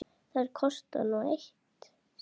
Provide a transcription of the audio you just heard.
Þær kosta nú sitt.